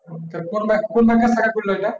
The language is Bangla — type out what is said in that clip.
কোন bank এর শাখা খুল্লা ওটা